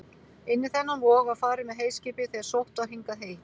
Inn í þennan vog var farið með heyskipið þegar sótt var hingað hey.